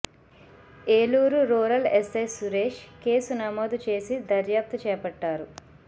Eluru rural SI Suresh case నమోదు చేసి దర్యాప్తు చేపట్టారు